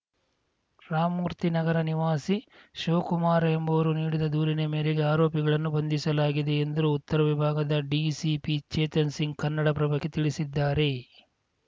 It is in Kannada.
ರಾಮಮೂರ್ತಿ ನಗರ ನಿವಾಸಿ ಶಿವಕುಮಾರ್‌ ಎಂಬುವರು ನೀಡಿದ ದೂರಿನ ಮೇರೆಗೆ ಆರೋಪಿಗಳನ್ನು ಬಂಧಿಸಲಾಗಿದೆ ಎಂದ್ರು ಉತ್ತರ ವಿಭಾಗದ ಡಿಸಿಪಿ ಚೇತನ್‌ಸಿಂಗ್‌ ಕನ್ನಡಪ್ರಭಕ್ಕೆ ತಿಳಿಸಿದ್ದಾರೆ